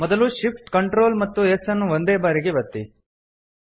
ಮೊದಲು Shift Ctrl ಮತ್ತು S ಅನ್ನು ಒಂದೇ ಬಾರಿಗೆ ಒತ್ತಿ